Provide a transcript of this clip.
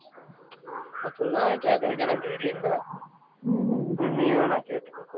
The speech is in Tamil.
அப்படிலாம் கேக்குறக்கு எனக்கு தைரியம் இல்ல நீ வேனா கேட்டுக்கோ